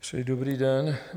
Přeji dobrý den.